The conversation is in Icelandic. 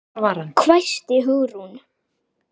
hvæsti Hugrún.